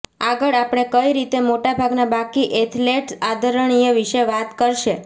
આગળ આપણે કઈ રીતે મોટા ભાગના બાકી એથ્લેટ આદરણીય વિશે વાત કરશે